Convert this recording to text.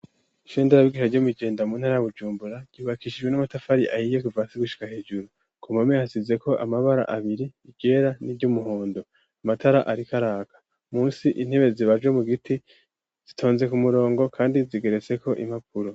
Ishenderabigisha ryo muijenda muntarabujumbura ryubakishijwe n'amatafari ayiyekvasigushika hejuru kumame hasizeko amabara abiri igera n'i ryoumuhondo amatara arikaraka musi intebe zibajo mu giti zitonze ku murongo, kandi zigeretseko impapuro.